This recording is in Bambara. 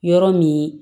Yɔrɔ min